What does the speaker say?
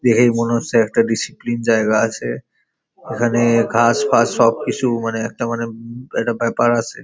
দেখেই মনে হচ্ছে একটা ডিসিপ্লিন জায়গা আছে। এখানে ঘাস ফাস সব কিছু মানে একটা মানে একটা ব্যাপার আছে।